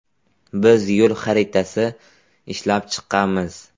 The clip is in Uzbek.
Biz ‘yo‘l xaritasi’ ishlab chiqqanmiz.